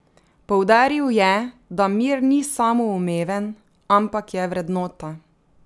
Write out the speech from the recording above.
Poudaril je, da mir ni samoumeven, ampak je vrednota.